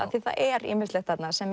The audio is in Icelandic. það er ýmislegt þarna sem